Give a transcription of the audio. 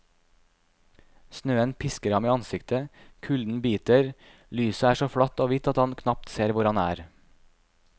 Snøen pisker ham i ansiktet, kulden biter, lyset er så flatt og hvitt at han knapt ser hvor han er.